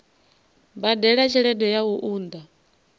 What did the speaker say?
badela tshelede ya u unḓa